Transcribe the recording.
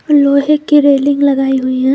लोहे की रेलिंग लगाई हुई है।